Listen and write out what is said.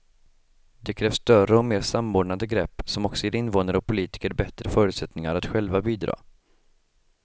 Det krävs större och mer samordnade grepp som också ger invånare och politiker bättre förutsättningar att själva bidra.